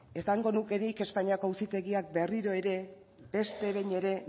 esango nuke nik espainiako auzitegiak berriro ere beste behin ere